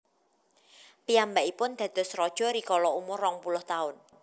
Piyambakipun dados raja rikala umur rong puluh taun